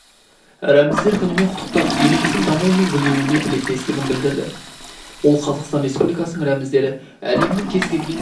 рәміздер күнімен құттықтап еліміздің дамуы мен гүлденуіне тілектестігін білдірді ол қазақстан республикасының рәміздері әлемнің кез-келген